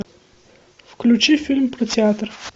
включи фильм про театр